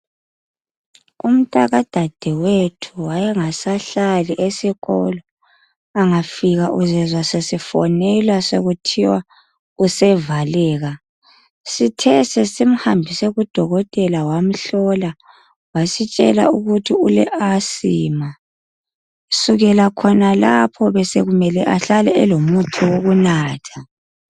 Umntaka dadewethu wayengasahlali esikolo, angafika uzezwa sesifonelwa sekuthiwa sevaleka, sithe sisimhambise kudokotela wasitshela ukuthi ule "Asthma". Kusukela khonalapho besekumele ahlale elomuthi wokunatha.